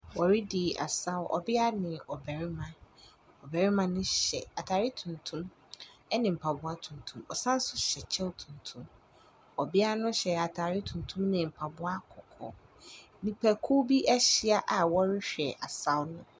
Wɔredi asaw, ɔbea ne ɔbarima. Ɔbarima no hyɛ atare tuntum ne mpaboa tuntum, ɔsan nso hyɛ kyɛ tuntum. Ɔbea nu hyɛ atar tuntum ne mpaboa kɔkɔɔ. Nnipakuw bi ahyi a wɔrehwɛ asaw no.